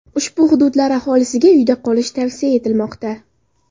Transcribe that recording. Ushbu hududlar aholisiga uyda qolish tavsiya etilmoqda.